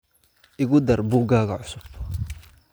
Igu dar buuggaaga cusub